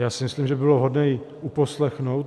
Já si myslím, že by bylo vhodné ji uposlechnout.